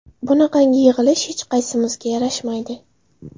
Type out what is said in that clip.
Bunaqangi yig‘ilish hech qaysimizga yarashmaydi.